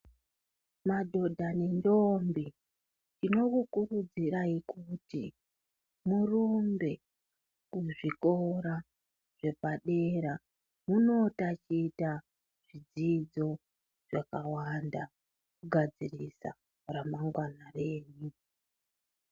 Madhodha nendombi tinomukurudzira kuti murumbe kuzvikora zvepadera kuti munotaticha fundo yepadera kugadzirira ramangwana renyu.